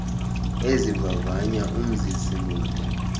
ezivavanya umzisi moto